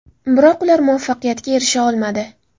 Biroq ular muvaffaqiyatga erisha olmadi.